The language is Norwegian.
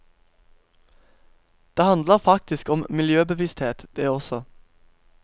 Det handler faktisk om miljøbevissthet, det også.